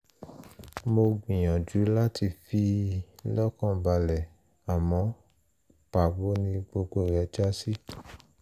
mo gbìyànjú láti fi í lọ́kàn balẹ̀ àmọ́ pàbó ni gbogbo rẹ̀ já sí